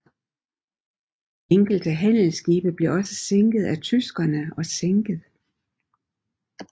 Enkelte handelsskibe blev også standset af tyskerne og sænket